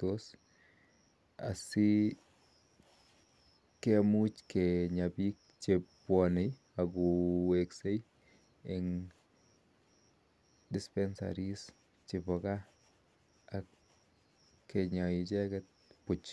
kenya asikomuch konyaa pik chook chepo gaaa asikinya icheget puch